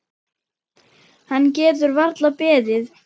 Hann getur varla beðið.